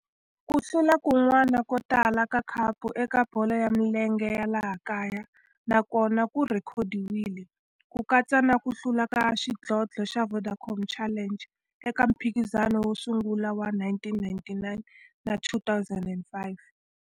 Ku hlula kun'wana ko tala ka khapu eka bolo ya milenge ya laha kaya na kona ku rhekhodiwile, ku katsa na ku hlula ka xidlodlo xa Vodacom Challenge eka mphikizano wo sungula wa 1999 na 2005.